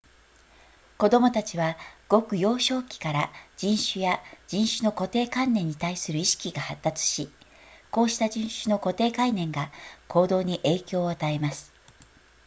子供たちはごく幼少期から人種や人種の固定観念に対する意識が発達しこうした人種の固定観念が行動に影響を与えます